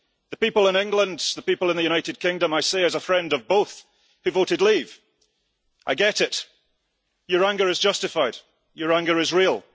To the people in England, the people in the United Kingdom, I say as a friend of both, who voted leave I get it, your anger is justified, your anger is real